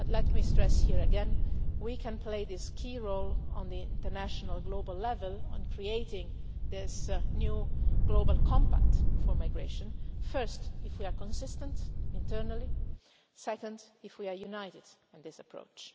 But let me stress here again, we can play this key role on the international, global level on creating this new global compact for migration, first if we are consistent internally, second if we are united in this approach.